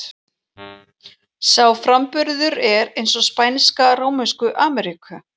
Sá framburður er eins og spænska Rómönsku Ameríku.